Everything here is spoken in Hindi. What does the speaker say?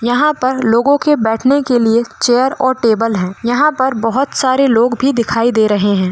यहा पर लोगो के बैठने के लिए चेयर और टेबल है यहा पर बहोत सारे लोग भी दिखाई दे रहे है।